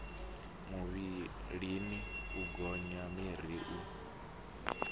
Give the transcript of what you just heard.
muvhilini u gonya miri u